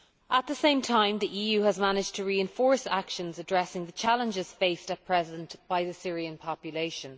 At the same time, the EU has managed to reinforce actions addressing the challenges faced at present by the Syrian population.